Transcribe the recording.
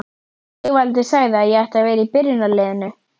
Sigvaldi sagði að ég ætti að vera í byrjunarliðinu!